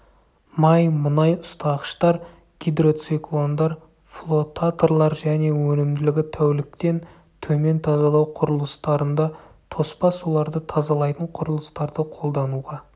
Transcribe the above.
май мұнай ұстағыштар гидроциклондар флотаторлар және өнімділігі тәуліктен төмен тазалау құрылыстарында тоспа суларды тазалайтын құрылыстарды қолдануға